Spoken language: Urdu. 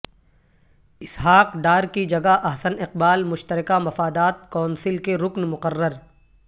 اسحاق ڈار کی جگہ احسن اقبال مشترکہ مفادات کونسل کے رکن مقرر